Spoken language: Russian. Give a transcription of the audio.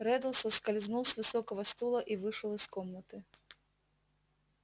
реддл соскользнул с высокого стула и вышел из комнаты